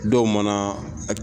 Dɔw mana